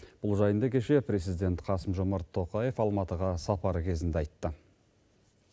бұл жайында кеше президент қасым жомарт тоқаев алматыға сапары кезінде айтты